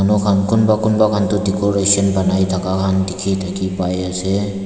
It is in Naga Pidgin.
lo khan kunba kunba khan tu decoration banai thaka dekhi pai ase.